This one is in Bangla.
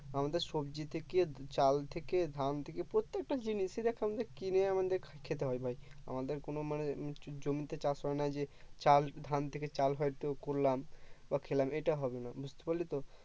আমাদের সবজি থেকে চাল থেকে ধান থেকে প্রত্যেকটা জিনিস দেখ আমাদের কিনে আমাদের খেতে হয় ভাই আমাদের কোনো মানে জমিতে চাষ হয় না যে চাল ধান থেকে চাল হয়তো করলাম বা খেলাম এটা হবেনা বুঝতে পারলি তো